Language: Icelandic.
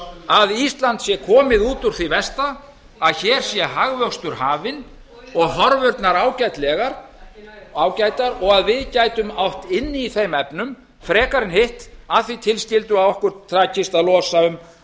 að ísland sé komið út úr því versta að hér sé hagvöxtur hafinn og horfurnar ágætar og að við gætum átt inni í þeim efnum frekar en hitt að því tilskildu að okkur takist að losa um